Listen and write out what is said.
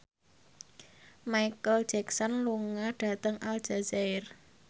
Micheal Jackson lunga dhateng Aljazair